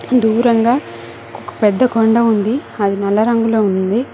దూరంగా ఒక పెద్ద కొండ ఉంది అది నల్ల రంగులో ఉంది.